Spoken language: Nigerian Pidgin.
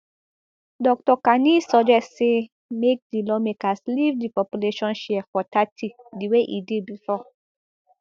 dr kani suggest say make di lawmakers leave di population share for thirty di way e dey before